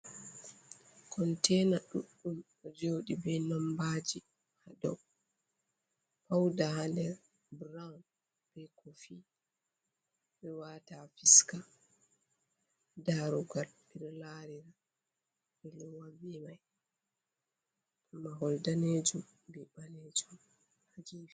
Kontena ɗuɗɗum ɗo joɗi be nombaji ha dou, pauda ha nder broun, be kofi, ɓe wata ha fiska, darugal ɓe ɗo larira ɓe ɗo lowa be mai, ha mahol danejum be ɓalejum ha gefe.